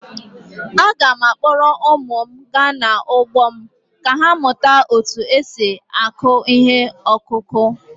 Aga m akpọrọ ụmụ m gaa n’ugbo m ka ha mụta otú e si akụ ihe ọkụkụ.